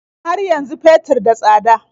Har yanzu fetur da tsada?